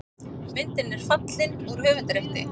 Myndin er fallin úr höfundarrétti.